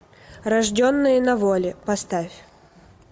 рожденные на воле поставь